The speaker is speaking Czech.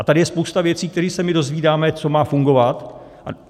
A tady je spousta věcí, které se my dozvídáme, co má fungovat.